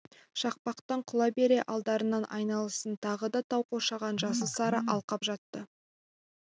шақпақтан құлай бере алдарынан айналасын тағы да тау қоршаған жасыл-сары алқап жатты